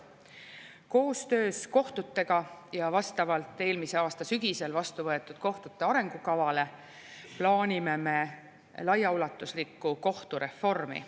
Koostöös kohtutega ja vastavalt eelmise aasta sügisel vastu võetud kohtute arengukavale plaanime me laiaulatuslikku kohtureformi.